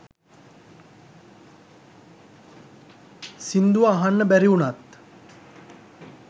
සිංදුව අහන්න බැරි උනත්